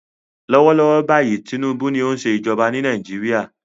Lọ́wọ́ lọ́wọ́ báyìí Tinubu ni ó ń ṣe ìjọba ní Nàìjíríà.